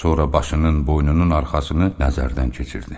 Sonra başının, boynunun arxasını nəzərdən keçirdi.